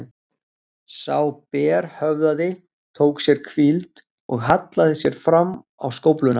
Sá berhöfðaði tók sér hvíld og hallaði sér fram á skófluna.